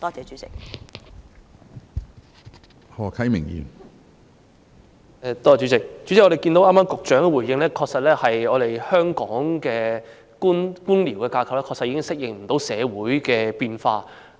主席，我們從局長剛才的回應便可知道，香港的官僚架構確實已不能適應社會的變化。